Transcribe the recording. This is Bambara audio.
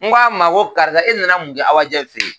N ko a ma ko karisa e nana mun kɛ Awajɛ fe yen?